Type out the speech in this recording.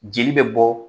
Jeli bɛ bɔ